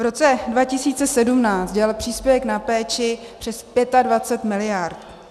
V roce 2017 dělal příspěvek na péči přes 25 miliard.